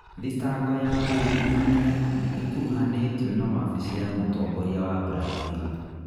Thitango ya ungumania nĩ ĩkuruhanĩtio na wabici ya mũtongoria wa Brazil